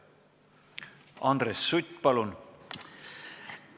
Andres Sutt, palun!